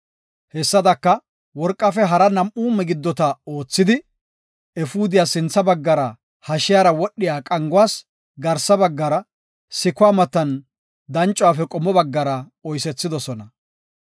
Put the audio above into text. Hessadaka, worqafe hara nam7u migiddota oothada, efuudiyas sintha bagga hashiyara wodhiya qanguwas garsa baggara, sikuwa matan dancuwaafe qommo baggara oysethidosona.